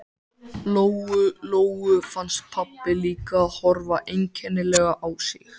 Lóu Lóu fannst pabbi líka horfa einkennilega á sig.